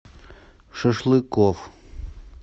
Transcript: шашлыкоф